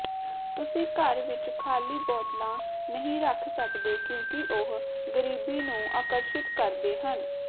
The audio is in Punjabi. ਤੁਸੀਂ ਘਰ ਵਿਚ ਖਾਲੀ ਬੋਤਲਾਂ ਨਹੀਂ ਰੱਖ ਸਕਦੇ ਕਿਉਂਕਿ ਉਹ ਗਰੀਬੀ ਨੂੰ ਆਕਰਸ਼ਿਤ ਕਰਦੇ ਹਨ